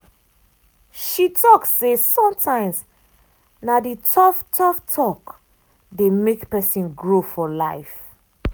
she talk say sometimes na the tough-tough talk dey make person grow for life.